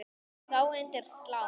Þá undir slá.